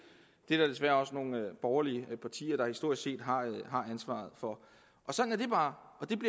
det er der desværre også nogle borgerlige partier der historisk set har ansvaret for sådan er det bare